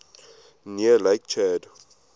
near lake chad